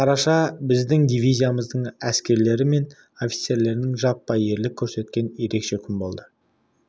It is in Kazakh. қараша біздің дивизияның әскерлері мен офицерлерінің жаппай ерлік көрсеткен ерекше күн болды